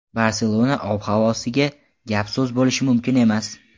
Barselona ob-havosiga gap-so‘z bo‘lishi mumkin emas.